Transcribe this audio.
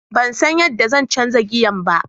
Ban san yadda zan canza giyan ba.